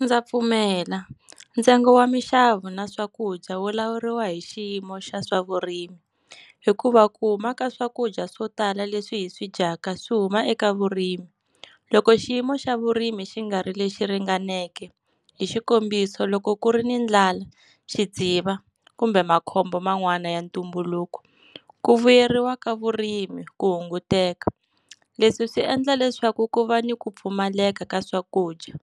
Ndza pfumela. Ntsengo wa minxavo na swakudya wu lawuriwa hi xiyimo xa swavurimi. Hikuva ku huma ka swakudya swo tala leswi hi swi dyaka swi huma eka vurimi. Loko xiyimo xa vurimi xi nga ri lexi ringaneke, hi xikombiso loko ku ri ni ndlala, xidziva kumbe makhombo man'wani ya ntumbuluko, ku vuyeriwa ka vurimi ku hunguteka. Leswi swi endla leswaku ku va ni ku pfumaleka ka swakudya,